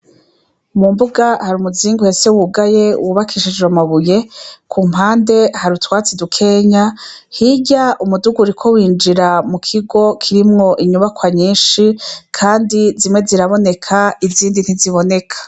Mumbuga har'umuzingi uhese wugaye wubakishijwe amabuye, kumpande hari utwatsi dukeya, hirya umuduga uriko winjira mukigo kirimwo inyubakwa nyishi kandi zimwe ziraboneka izindi ntiziboneka.